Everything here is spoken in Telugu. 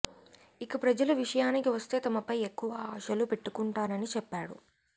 ఇక ప్రజల విషయానికి వస్తే తమపై ఎక్కువ ఆశలు పెట్టుకుంటారని చెప్పాడు